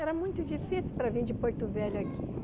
Era muito difícil para vir de Porto Velho aqui.